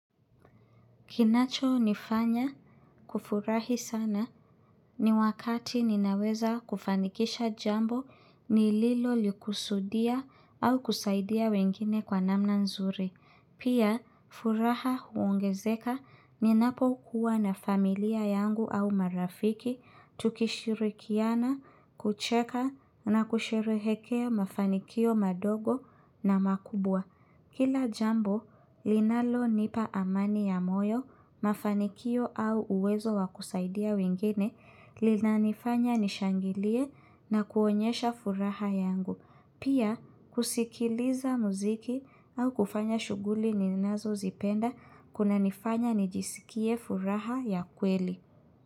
Kinacho nifanya kufurahi sana ni wakati ninaweza kufanikisha jambo ni lilo likusudia au kusaidia wengine kwa namna nzuri. Pia, furaha huongezeka ni napo kuwa na familia yangu au marafiki, tukishirikiana, kucheka na kushirikia mafanikio madogo na makubwa. Kila jambo, linalo nipa amani ya moyo, mafanikio au uwezo wakusaidia wengine, lina nifanya nishangilie na kuonyesha furaha yangu. Pia, kusikiliza muziki au kufanya shughuli ninazo zipenda, kuna nifanya nijisikie furaha ya kweli.